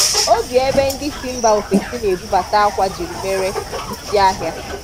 Ọ bi ebé ndị si mba ofesí na-ebụbata ákwá jiri mere isi ahiá.